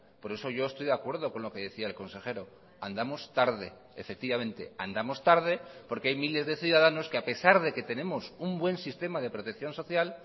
por eso yo estoy de acuerdo con lo que decía el consejero andamos tarde efectivamente andamos tarde porque hay miles de ciudadanos que a pesar de que tenemos un buen sistema de protección social